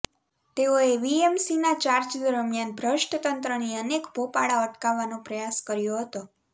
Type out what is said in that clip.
તેઓએ વીએમસીના ચાર્જ દરમિયાન ભ્રષ્ટ તંત્રની અનેક ભોપાળા અટકાવવાનો પ્રયાસ કર્યો હતો